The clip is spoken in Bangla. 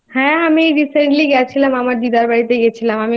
হ্যাঁ আমি Recently গিয়েছিলাম। আমার দিদার বাড়িতে